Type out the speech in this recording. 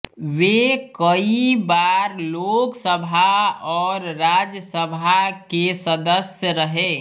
वे कई बार लोकसभा और राज्यसभा के सदस्य रहे